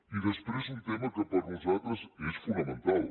i després un tema que per nosaltres és fonamental